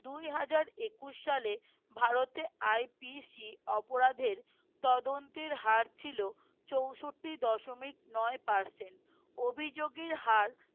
দুই হাজার একুশ সালে ভারতে IPC অপরাধের তদন্তের হার ছিল চৌষট্টি দশমিক নয় percent অভিযোগের হার